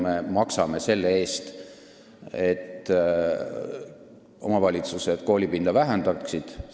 Me maksame selle eest, et omavalitsused koolipinda vähendaksid.